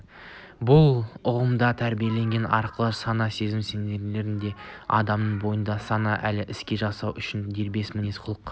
бұл ұғымдар тәрбиелеу арқылы сана-сезімге сіңіріледі де адамның бойында саналы іс әрекет жасау үшін дербес мінез-құлық